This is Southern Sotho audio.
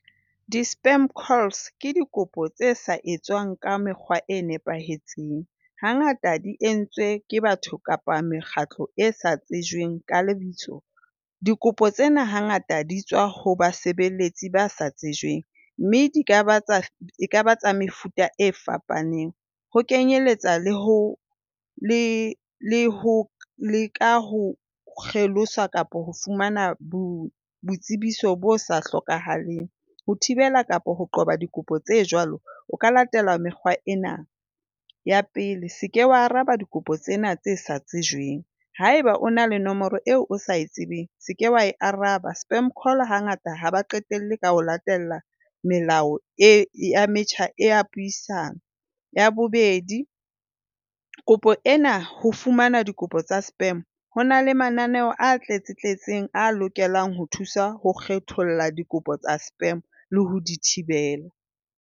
Di-spam calls ke dikopo tse sa etswang ka mekgwa e nepahetseng. Hangata di entswe ke batho kapa mekgatlo e sa tswejweng ka lebitso. Dikopo tsena hangata di tswa ho basebeletsi ba sa tsejweng, mme di ka ba tsa mefuta e fapaneng ho kenyeletsa le ho le le ho leka ho kgelosa kapa ho fumana bo boitsebiso bo sa hlokahaleng. Ho thibela kapa ho qoba dikopo tse jwalo o ka latela mekgwa ena. Ya pele, se ke wa araba dikopo tsena tse sa tsejweng haeba o na le nomoro eo o sa tsebeng, se ke wa e araba. Spam call hangata ha ba qetelle ka ho latela melao e ya metjha ya puisano. Ya bobedi, kopo ena ho fumana dikopo tsa spam, ho na le mananeo a tletsetletseng a lokelang ho thusa ho kgetholla dikopo tsa spam le ho di thibela.